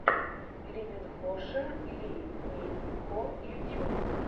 лиминхоша ли мин хо ютьюб